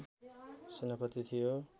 सेनापति थियो